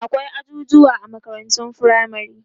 akwai ajujuwa a makarantun firamare